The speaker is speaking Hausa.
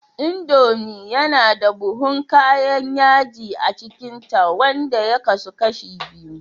Indomie yana da buhun kayan yaji a cikinta, wanda ya kasu kashi biyu